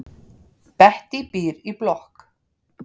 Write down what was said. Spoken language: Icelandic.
Bettý býr í blokk.